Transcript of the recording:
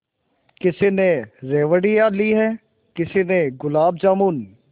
किसी ने रेवड़ियाँ ली हैं किसी ने गुलाब जामुन